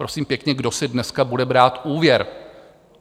Prosím pěkně, kdo si dneska bude brát úvěr?